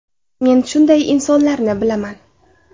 Men shunday insonlarni bilaman.